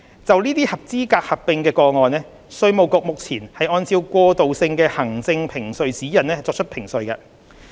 就這些合資格的合併個案，稅務局目前按照過渡性行政評稅指引作出評稅。